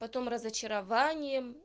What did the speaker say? потом разочарованием